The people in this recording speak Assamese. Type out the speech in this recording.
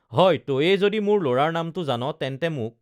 হয় তয়েই যদি মোৰ লৰাৰ নামটো জান তেন্তে মোক